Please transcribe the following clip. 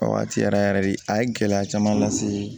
A waati yɛrɛ yɛrɛ de a ye gɛlɛya caman lase